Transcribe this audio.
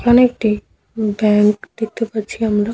এখানে একটি ব্যাংক দেখতে পাচ্ছি আমরা ।